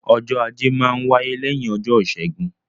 Ọjọ́ Ajé máa n wáyé lẹ́yìn ọjọ́ Ìṣẹ́gun